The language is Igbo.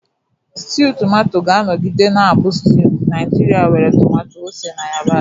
Stew Tomato ga-anọgide na-abụ stew Naijiria nwere tomato, ose, na yabasị.